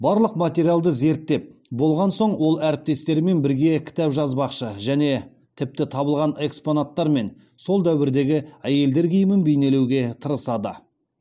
барлық материалды зерттеп болған соң ол әріптестерімен бірге кітап жазбақшы және тіпті табылған экспонаттармен сол дәуірдегі әйелдер киімін бейнелеуге тырысады